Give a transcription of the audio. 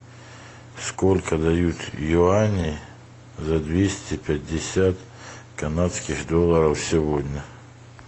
сколько дают юаней за двести пятьдесят канадских долларов сегодня